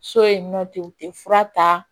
So yen nɔ ten u tɛ fura ta